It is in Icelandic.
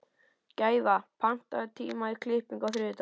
Gæfa, pantaðu tíma í klippingu á þriðjudaginn.